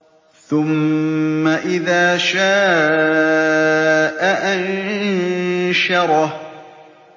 ثُمَّ إِذَا شَاءَ أَنشَرَهُ